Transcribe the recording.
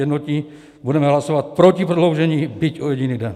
Jednotní budeme hlasovat proti prodloužení, byť o jediný den.